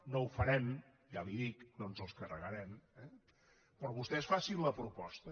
no ho farem ja li ho dic no ens els carregarem eh però vostès facin la proposta